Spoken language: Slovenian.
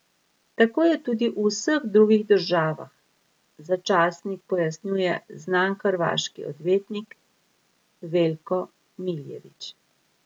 Tako je tudi v vseh drugih državah, za časnik pojasnjuje znan hrvaški odvetnik Veljko Miljević.